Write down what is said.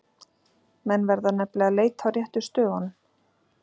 Menn verða nefnilega að leita á réttu stöðunum!